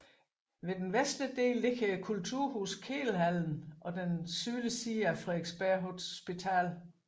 Ved den vestlige del ligger kulturhuset Kedelhallen og den sydlige side af Frederiksberg Hospital